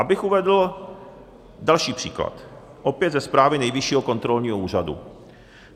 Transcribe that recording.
Abych uvedl další příklad, opět ze zprávy Nejvyššího kontrolního úřadu.